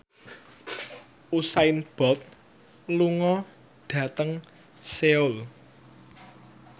Usain Bolt lunga dhateng Seoul